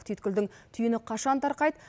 түйткүлдің түйіні қашан тарқайды